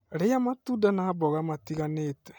Rĩa matunda na mboga matiganĩte.